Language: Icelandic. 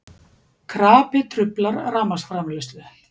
Krapi truflar rafmagnsframleiðslu